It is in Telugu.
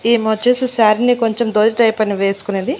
ఈమొచ్చేసి శారీ ని కొంచెం ధోతి టైప్ అని వేసుకొనింది.